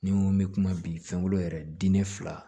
Ni n ko n bɛ kuma bi fɛnkolo yɛrɛ diinɛ fila